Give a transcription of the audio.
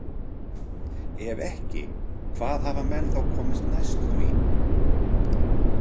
Ef ekki, hvað hafa menn þá komist næst því?